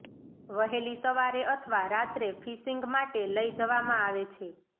વહેલી સવારે અથવા રાત્રે ફિશિંગ માટે લઈ જવામાં આવે છે